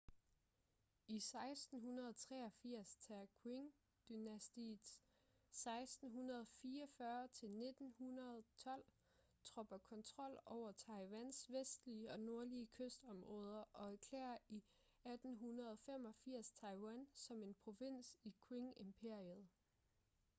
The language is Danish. i 1683 tager qing-dynastiets 1644-1912 tropper kontrol over taiwans vestlige og nordlige kystområder og erklærer i 1885 taiwan som en provins i qing-imperiet